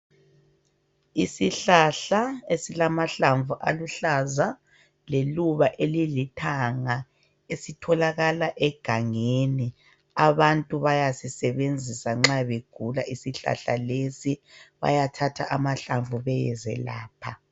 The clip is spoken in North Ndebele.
Isihlahla esilamahlamvu aluhlaza leluba elilithanga esitholakala egangeni abantu bayasisebenzisa nxabegula isihlahla lesi, bayathatha amahlamvu beyezelapha.